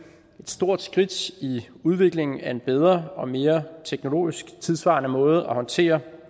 et stort skridt i udviklingen af en bedre og mere teknologisk tidssvarende måde at håndtere